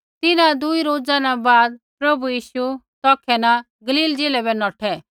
तिन्हां दुई रोजा न बाद प्रभु यीशु तौखै न गलील ज़िलै बै नौठै